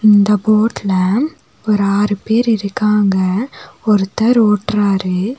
இந்த போட்ல ஒரு ஆறு பேர் இருக்காங்க ஒருத்தர் ஓட்டுறாரு.